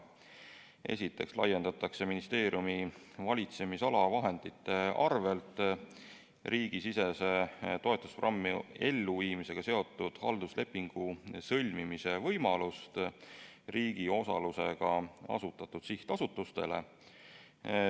Esiteks laiendatakse ministeeriumi valitsemisala vahendite arvel riigisisese toetusprogrammi elluviimisega seotud halduslepingu sõlmimise võimalust riigi osalusega asutatud sihtasutustele.